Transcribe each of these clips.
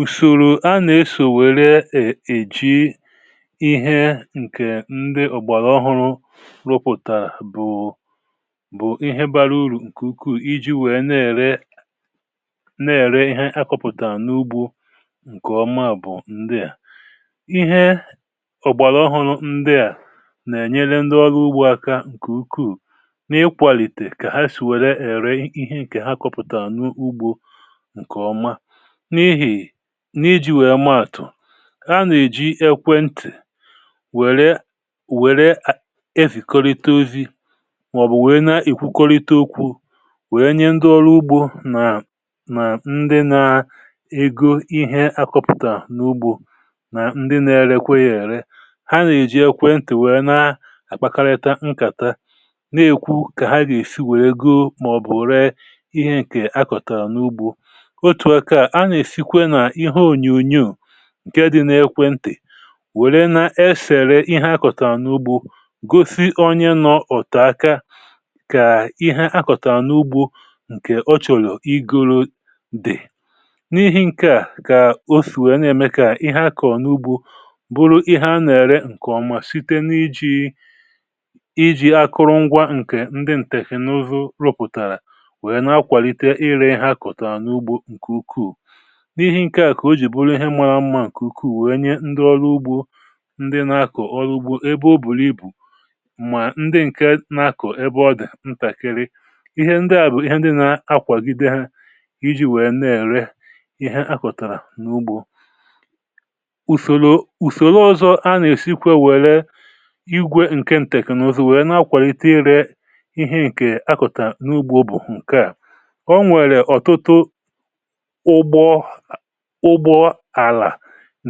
Ùsòrò a nà-esò wère eji̇ ihe ǹkè ndị ọ̀gbàlà ọhụrụ rụpụ̀tàrà bụ̀ ihe bara urù ǹkè ukwuù, iji wèe na-ère ihe a kọpụ̀tàrà n’ugbȯ ǹkè ọma. um Ndị à bụ̀ ihe ọ̀gbàlà ọhụrụ nà-ènyere ndị ọlụ ugbò aka ǹkè ukwuù n’ịkwàlìtè, kà ha si wèrè eri ihe ǹkè ha kọpụ̀tàrà n’ugbȯ ǹkè ọma. Anà-èji ekwentị̀ wèrè efì kọrịta ozi, màọ̀bụ̀ wèe na-èkwukorita okwu̇, wèe nye ndị ọrụ ugbò nà ndị na-ego ihe akọpụ̀tà n’ugbȯ, nà ndị na-erekwe ya. um Ha nà-èji ekwentị̀ wèe na-akpakarịta nkàta, n’èkwu kà ha gà-èsi wèe ego, màọ̀bụ̀ ree ihe ǹkè a kọ̀tàrà n’ugbȯ. Ǹkè dị n’ekwentè wèrè n’efère ihe akọ̀tàrà n’ugbȯ gosi onye nọ ọ̀tà aka kà ihe akọ̀tà n’ugbȯ ǹkè o chọ̀lụ̀ iguru dị̀. N’ihi̇ ǹkè à, kà o sì wee na-emekàà ihe akọ̀ n’ugbȯ bụrụ ihe a nà-ère ǹkè ọma site n’iji̇ akụrụngwȧ ǹkè ndị ǹtèfè n’ụzọ rụpụ̀tàrà, wèe na-akwàlite ire ihe akọ̀tàrà n’ugbȯ ǹkè ukwuù. Ihe ǹkè à kà o jì bụrụ ihe mȧrȧ mmȧ ǹkè ukwuù, wèe nye ndị ọlụ ugbò — ndị na-akọ̀ ọrụ ugbò ebe ọbụlì ibù, mà ndị ǹkè nà-akọ̀ ebe dị ntàkịrị. um Ihe ndị à bụ̀ ihe ndị nà-akwàgide ha iji̇ wèe na-èrè ihe akọ̀tàrà n’ugbȯ. Ùsòrò ọzọ a nà-esikwe, wèe nwee igwè ǹkè ǹteknòzò, wèe na-akwàlite ịrẹ ihe akọ̀tàrà n’ugbȯ. Ọ bụ̀ ǹkè à kà o nwèrè ọ̀tụtụ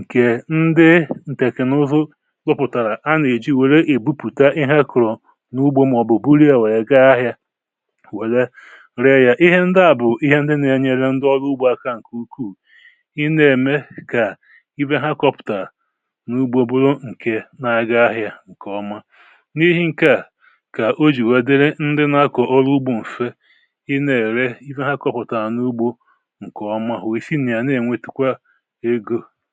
ǹkè ndị ǹtèkènụzụ zụpụ̀tàrà, anà-èji wèrè ebupùta ihe akụ̀rụ̀ n’ugbȯ, màọ̀bụ̀ buru ya, wèe gaa ahị̇ȧ, wèrè ree ya. Ihe ndị à bụ̀ ihe ndị nà-enyere ndị ọrụ ugbò aka ǹkè ukwuù, iji̇ mee kà ihe ha kọpụ̀tàrà n’ugbȯ bụrụ ǹkè na-aga ahị̇ȧ ǹkè ọma. um N’ihe ǹkè à, kà o jì wèe dịrị ndị nà-akọ̀ ọrụ ugbò mfe, ị na-èrè ihe ha kọpụ̀tàrà n’ugbȯ ǹkè, ǹdèkwà egȯ.